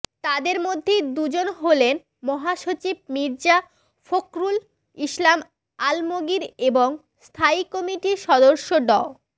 তাদের মধ্যে দুইজন হলেন মহাসচিব মির্জা ফখরুল ইসলাম আলমগীর এবং স্থায়ী কমিটির সদস্য ড